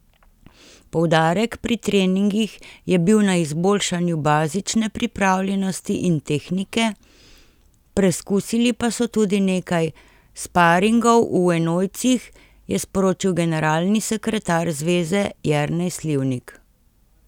Poudarek pri treningih je bil na izboljšanju bazične pripravljenosti in tehnike, preskusili pa so tudi nekaj sparingov v enojcih, je sporočil generalni sekretar zveze Jernej Slivnik.